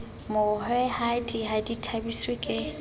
mohwehadi ha di thabiswe ke